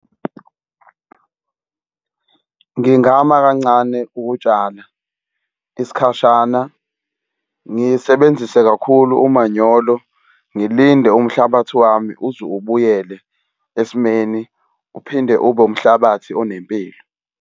Ngingama kancane ukutshala isikhashana, ngisebenzise kakhulu umanyolo, ngilinde umhlabathi wami uze ubuyele esimeni uphinde ube umhlabathi onempilo.